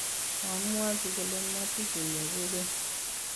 koamwochi kole matukunyo kukeny